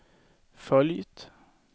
följt